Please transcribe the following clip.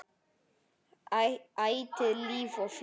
Ætíð líf og fjör.